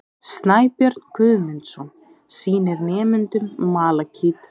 Snæbjörn Guðmundsson sýnir nemendum malakít.